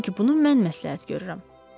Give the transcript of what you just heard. Çünki bunu mən məsləhət görürəm.